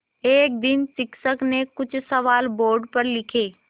एक दिन शिक्षक ने कुछ सवाल बोर्ड पर लिखे